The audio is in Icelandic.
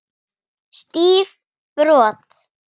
Stíf brot.